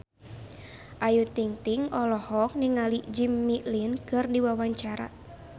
Ayu Ting-ting olohok ningali Jimmy Lin keur diwawancara